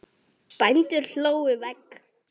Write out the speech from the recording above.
Bændur hlóðu vegg.